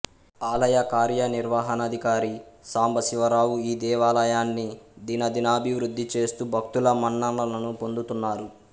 ఆలయ కార్యనిర్వహణాదికారి సాంబశివరావు ఈ దేవాలయన్ని దినాదినాభివృద్ధి చేస్తూ భక్తుల మన్ననలను పొందుతున్నారు